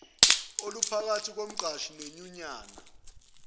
oluphakathi komqashi nenyunyana